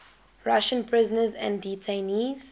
russian prisoners and detainees